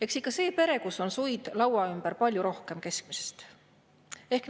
Eks ikka see pere, kus on suid laua ümber keskmisest palju rohkem.